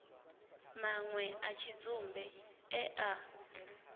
manwe a tshidzumbe e a